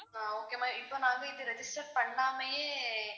அஹ் okay ma'am இப்போ நான் வந்து இப்ப register பண்ணாமையே